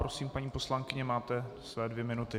Prosím, paní poslankyně, máte své dvě minuty.